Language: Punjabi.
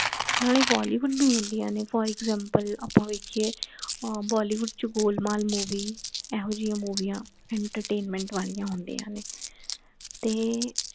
ਨਾਲੇ bollywood ਭੀ ਹੁੰਦੀਆਂ ਨੇ for example ਆਪਾ ਵੇਖੀਏ bollywood ਚ ਗੋਲਮਾਲ movie ਇਹੋਜਿਆਂ ਮੂਵੀਆਂ entertainment ਵਾਲੀ